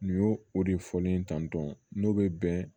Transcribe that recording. Nin y'o o de fɔlen tantɔ n'o bɛ bɛn